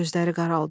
Gözləri qaraldı.